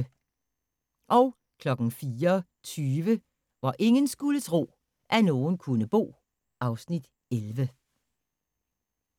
04:20: Hvor ingen skulle tro, at nogen kunne bo (Afs. 11)